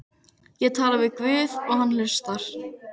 Ég tala við guð og hann hlustar.